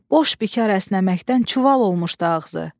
Boş bikar əsnəməkdən çuval olmuşdu ağzı.